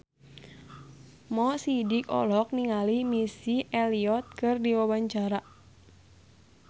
Mo Sidik olohok ningali Missy Elliott keur diwawancara